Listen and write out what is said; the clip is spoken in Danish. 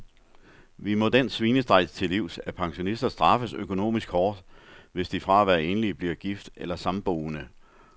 Vi må den svinestreg til livs, at pensionister straffes økonomisk hårdt, hvis de fra at være enlig bliver gift eller samboende.